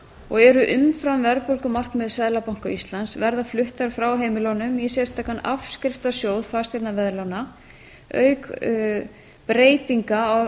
og sjö og eru umfram verðbólgumarkmið seðlabanka íslands verði fluttar frá heimilunum í sérstakan afskriftasjóð fasteignaveðlána auk breytinga